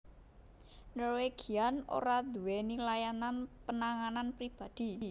Norwegian ora duwéni layanan penanganan pribadi